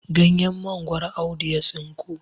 ganyen mangoro Audu ya tsinko